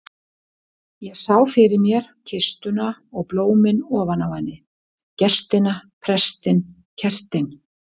Ég sá fyrir mér kistuna og blómin ofan á henni, gestina, prestinn, kertin.